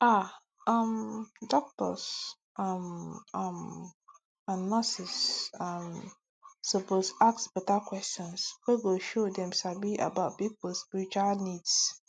ah um doctors um um and nurses um suppose ask beta questions wey go show dem sabi about people spiritual needs